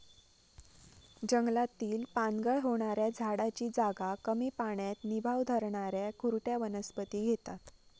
जंगलातील पानगळ होणाऱ्या झाडाची जागा कमी पाण्यात निभाव धरणाऱ्या खुरट्या वनस्पती घेतात.